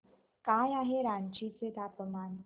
काय आहे रांची चे तापमान